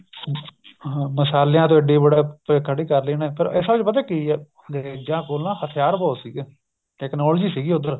ਹਾਂ ਮਸਾਲਿਆਂ ਤੋਂ ਇੱਡੀ ਬੜਾ ਖੜੀ ਕ਼ਰ ਲਈ ਉਹਨੇ ਫ਼ਿਰ ਅਸਲ ਚ ਪਤਾ ਕੀ ਏ ਅੰਗਰੇਜਾਂ ਕੋਲ ਨਾ ਹਥਿਆਰ ਬਹੁਤ ਸੀਗੇ technology ਸੀਗੀ ਉੱਧਰ